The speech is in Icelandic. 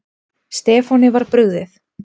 Stefáni var brugðið.